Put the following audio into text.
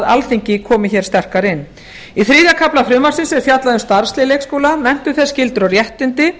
alþingi komi hér sterkar inn í þriðja kafla frumvarpsins er fjallað um starfslið leikskóla menntun þess skyldur og réttindi